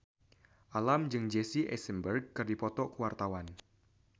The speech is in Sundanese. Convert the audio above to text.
Alam jeung Jesse Eisenberg keur dipoto ku wartawan